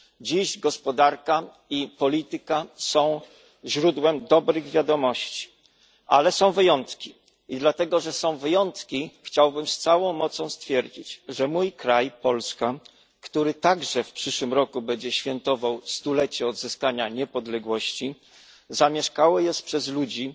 Dziś gospodarka i polityka są źródłem dobrych wiadomości, ale są wyjątki, i dlatego że są wyjątki, chciałbym z całą mocą stwierdzić, że mój kraj, Polska, który także w przyszłym roku będzie świętował stulecie odzyskania niepodległości, zamieszkały jest przez ludzi,